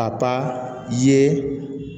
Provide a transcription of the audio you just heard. A ka ye